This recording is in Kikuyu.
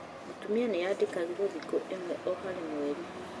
Mũtumia nĩandĩkagĩrwo thiku ĩmwe harĩ o mweri